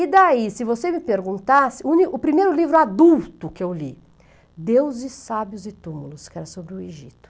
E daí, se você me perguntasse, o primeiro livro adulto que eu li, Deus e Sábios e Túmulos, que era sobre o Egito.